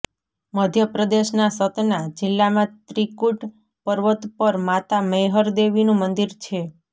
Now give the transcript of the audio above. મધ્યપ્રદેશના સતના જીલ્લામાં ત્રિકૂટ પર્વત પર માતા મૈહર દેવીનું મંદિર છે